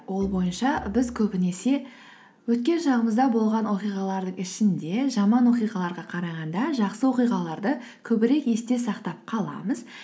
ол бойынша біз көбінесе өткен шағымызда болған оқиғалардың ішінде жаман оқиғаларға қарағанда жақсы оқиғаларды көбірек есте сақтап қаламыз